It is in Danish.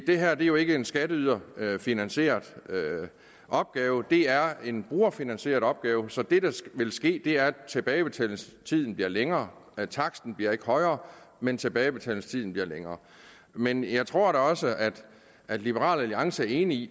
det er jo ikke en skatteyderfinansieret opgave det er en brugerfinansieret opgave så det der vil ske er at tilbagebetalingstiden bliver længere taksten bliver ikke højere men tilbagebetalingstiden bliver længere men jeg tror også at liberal alliance er enig i